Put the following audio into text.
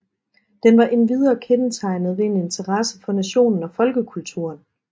Den var endvidere kendetegnet ved en interesse for nationen og folkekulturen